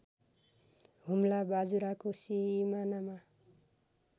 हुम्ला बाजुराको सिमानामा